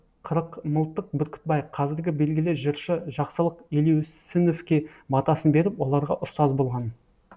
қырықмылтық бүркітбай қазіргі белгілі жыршы жақсылық елеусіновке батасын беріп оларға ұстаз болған